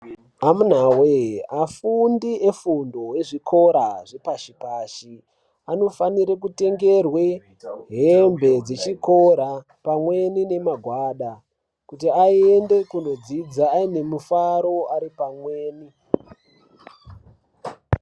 Amunawee afundi efundo yezvikora zvepashi pashi anofanire kutengerwe hembe dzechikora pamweni nemagwada kuti aende kundodzidza aine mufaro ari pamweni.